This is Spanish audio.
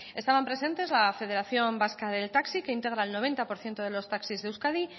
estaban presentes la federación vasca del taxi que integra el noventa por ciento de los taxis de euskadi